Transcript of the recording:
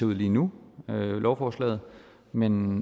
ud lige nu lovforslaget men